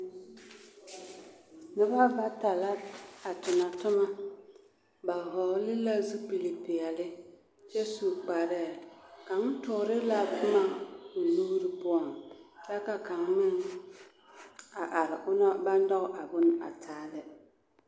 Noba bata la a tona toma ba hɔgle la zupilipeɛle kyɛ su kparɛɛ kaŋ toore la boma o nuuri poɔŋ kyɛ ka kaŋ meŋ a are onaŋ ba nyɔge a bone a taa lɛ.